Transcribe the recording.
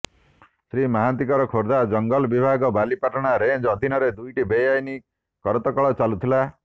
ଶ୍ରୀ ମହାନ୍ତିଙ୍କର ଖୋର୍ଦ୍ଧା ଜଂଗଲ ବିଭାଗ ବାଲିପାଟଣା ରେଞ୍ଜ ଅଧୀନରେ ଦୁଇଟି ବେଆଇନ୍ କରତ କଳ ଚାଲୁଥିଲା